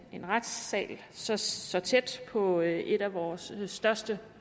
en retssal så så tæt på et af vores største